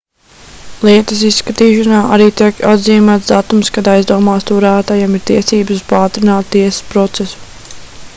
lietas izskatīšanā arī tiek atzīmēts datums kad aizdomās turētajam ir tiesības uz paātrinātu tiesas procesu